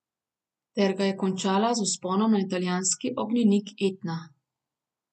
Ter ga končala z vzponom na italijanski ognjenik Etna.